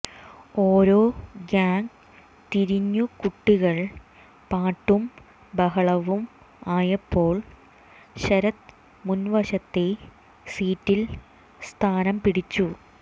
ഓരോ ഗാങ് തിരിഞ്ഞു കുട്ടികൾ പാട്ടും ബഹളവും ആയപ്പോൾ ശരത് മുൻവശത്തെ സീറ്റിൽ സ്ഥാനം പിടിച്ചു